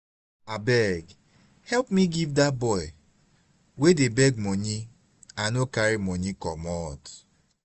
abeg help me give dat boy wey dey beg money i no carry money commot